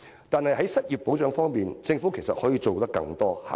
但是，在失業保障方面，政府其實可以做得更多。